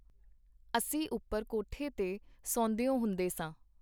ਅਸੀਂ ਉਪਰ ਕੋਠੇ ਤੇ ਸੌਂਦਿਓ ਹੁੰਦੇ ਸਾਂ.